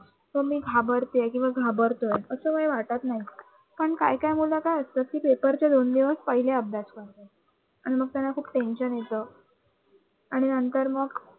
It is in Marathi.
मी घाबरते किंवा घाबरतोय असे काही वाटत नाही. पण काही काही मुलं काय असतात कि पेपरच्या दोन दिवस पहिले अभ्यास करतात आणि मग त्यांना खूप tension येत आणि नंतर मग